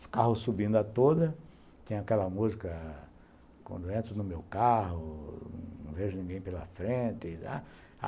Os carros subindo a toda, tem aquela música, quando entro no meu carro, não vejo ninguém pela frente e dá.